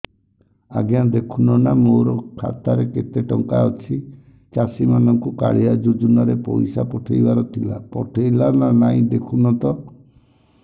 ଆଜ୍ଞା ଦେଖୁନ ନା ମୋର ଖାତାରେ କେତେ ଟଙ୍କା ଅଛି ଚାଷୀ ମାନଙ୍କୁ କାଳିଆ ଯୁଜୁନା ରେ ପଇସା ପଠେଇବାର ଥିଲା ପଠେଇଲା ନା ନାଇଁ ଦେଖୁନ ତ